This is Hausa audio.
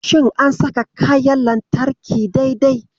Shin an saka kayan lantarki dai-dai?